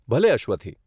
ભલે, અશ્વથી.